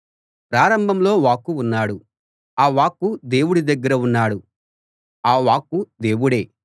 ప్రారంభంలో వాక్కు ఉన్నాడు ఆ వాక్కు దేవుడి దగ్గర ఉన్నాడు ఆ వాక్కు దేవుడే